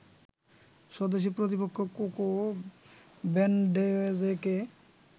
স্বদেশী প্রতিপক্ষ কোকো ভ্যানডেয়েজেকে